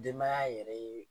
Denbaya yɛrɛ ye